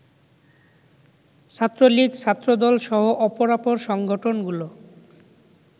ছাত্রলীগ, ছাত্রদলসহ অপরাপর সংগঠনগুলো